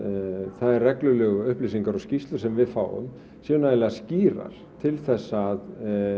þær reglulegu upplýsingar og skýrslur sem við fáum séu nægilega skýrar til þess að